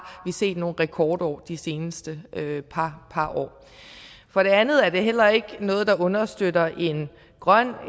vi set nogle rekordår de seneste par år for det andet er det heller ikke noget der understøtter en grøn